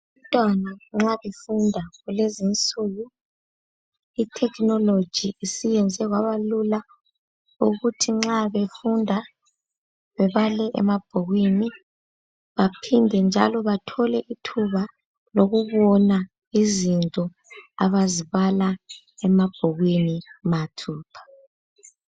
Umntwana nxa efunda kulezinsuku ithekhinoloji isiyenze kwabalula ukuthi nxa befunda bebale emabhukwini baphinde njalo bathole ithuba lokubona izinto abazibala emabhukwini mathupha.